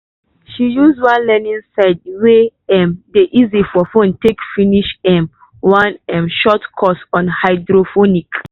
she use one learning site wey um dey easy for phone take finish um one um short course on hydroponics